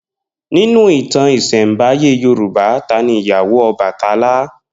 Ninu ìtàn ìsẹ̀nbáyé Yorùbá, ta ni ìyàwó Ọbàtálá?